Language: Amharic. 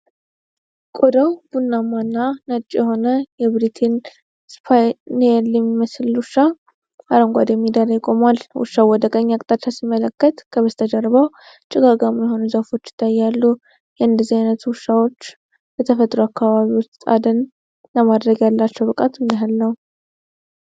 ቆዳው ቡናማና ነጭ የሆነ የብሬተን እስፓኒየል የሚመስል ውሻ አረንጓዴ ሜዳ ላይ ቆሟል። ውሻው ወደ ቀኝ አቅጣጫ ሲመለከት፣ ከበስተጀርባው ጭጋጋማ የሆኑ ዛፎች ይታያሉ። የእንደዚህ አይነቱ ውሻዎች በተፈጥሮ አካባቢ ውስጥ አደን ለማድረግ ያላቸው ብቃት ምን ያህል ነው?